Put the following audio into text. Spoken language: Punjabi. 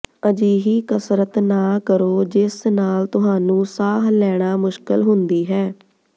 ਅਜਿਹੀ ਕਸਰਤ ਨਾ ਕਰੋ ਜਿਸ ਨਾਲ ਤੁਹਾਨੂੰ ਸਾਹ ਲੈਣਾ ਮੁਸ਼ਕਲ ਹੁੰਦੀ ਹੈ